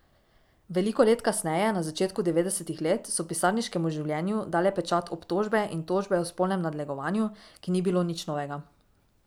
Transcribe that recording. Veliko let kasneje, na začetku devetdesetih let, so pisarniškemu življenju dale pečat obtožbe in tožbe o spolnem nadlegovanju, ki ni bilo nič novega.